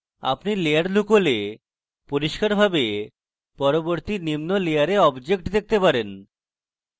যখন আপনি layer লুকান আপনি পরিষ্কারভাবে পরবর্তী নিম্ন layer objects দেখতে পারবেন